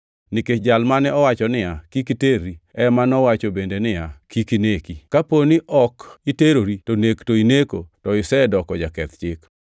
Nikech Jal mane owacho niya, “Kik iterri,” + 2:11 \+xt Wuo 20:14; Rap 5:18\+xt* ema nowacho bende niya, “Kik ineki.” + 2:11 \+xt Wuo 20:13; Rap 5:17\+xt* Kaponi ok iterri to nek to ineko to isedoko jaketh chik.